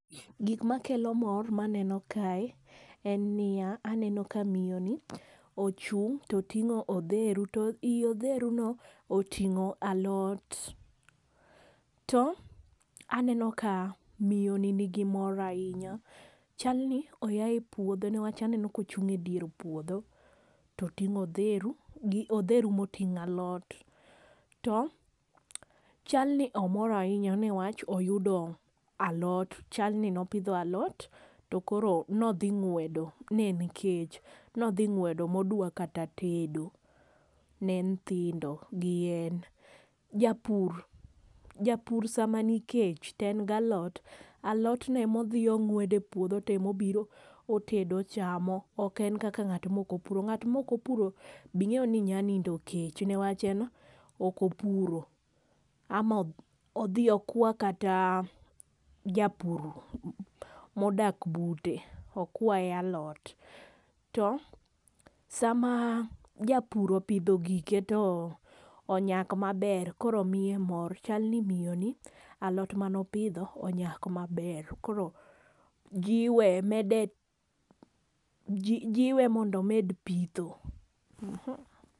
Gik ma kelo mor ma aneno kae en ni ya, aneno ka miyo ni ochung to otingo odheru to i odheru no otingo alot .To aneno ka miyo ni gi mor ainya chal ni oya e puodho nikech aneno ka ochung e dier puodho to otingo odheru gi odheru be otingo alot to chal ni omor ainya ne wach oyudo alot chal ni ne opidho alot to koro ne odhi ne en kech ne odhi ngwedo ma onyalo keto tedo ne nyithindo gi en. Japur, japur saa ma nikech to en ga alot alot no ema odhi ongwedo e puodho to tedo ochamo. Ok en kaka ngat ma ok opuro. Bi ingeyo ni nya nindo kech ne wach en ok opuro ,ama odhi okwa kata japur modak bute okwaye alot asto sam japur opidho gike to onyak ma ber koro miye mor cha ni miyo ni alot mane opidho onyak ma ber koro jiwe mede jiwe mondo omed pitho.